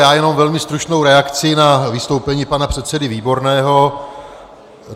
Já jenom velmi stručnou reakci na vystoupení pana předsedy Výborného.